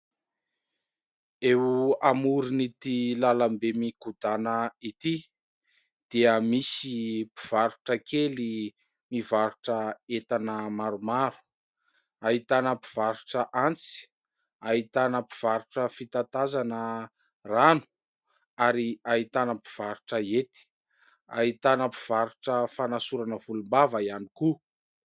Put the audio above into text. Eo amorn'ity lalambe mikodana ity dia misy mpivarotra kely mivarotra entana maromaro. Ahitana mpivarotra antsy, ahitana mpivarotra fitatazana rano ary ahitana mpivarotra hety, ahitana mpivarotra fanasorana volom-bava ihany koa.